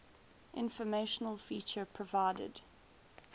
informational feature provided